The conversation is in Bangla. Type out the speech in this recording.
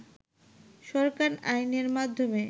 সরকার আইনের মাধ্যমে